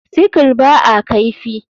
Sickle ba a kaifi.